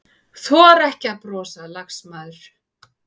Þora ekki að brosa, lagsmaður.